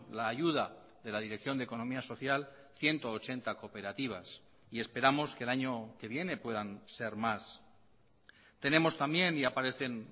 la ayuda de la dirección de economía social ciento ochenta cooperativas y esperamos que el año que viene puedan ser más tenemos también y aparecen